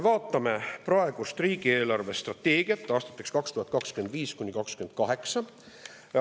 Vaatame praegust riigi eelarvestrateegiat aastateks 2025–2028.